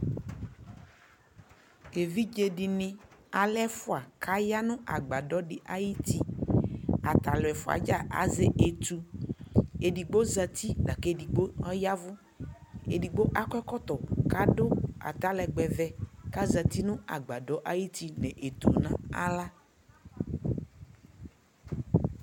Evidze dιnι, alɛ ɛfʋa, kʋ aya nʋ agbadɔ dι ayι uti, ata alʋ ɛfʋa yɛ dza azɛ etu Edigbo zati lakʋ edigbo ɔyavʋ Edigbo akɔ ɛkɔtɔ kʋ adʋ atalɛgbɛ vɛ kʋ azati nʋ agbadɔ ayι uti nʋ etu nʋ naɣla